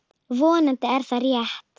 Vonandi er það rétt.